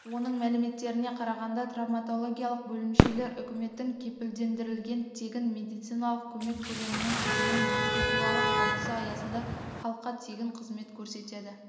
оның мәліметтеріне қарағанда травматологиялық бөлімшелер үкіметінің кепілдендірілген тегін медициналық көмек көлемінің тізімін бекіту туралы қаулысы аясында халыққа тегін қызмет көрсетеді